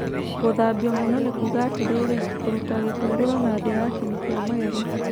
Gũthambio mũno nĩ kuuga atĩrĩrĩ, kũruta gĩko igũrũ na thĩ ya kĩni kĩa magego.